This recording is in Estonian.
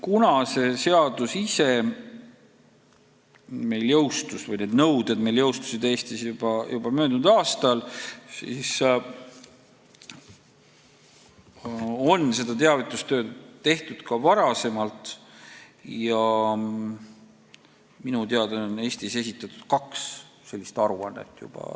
Kuna see seadus või need nõuded jõustusid Eestis juba möödunud aastal, siis on seda teavitustööd tehtud ka varem ja minu teada on Eestis juba tänaseks esitatud kaks sellist aruannet.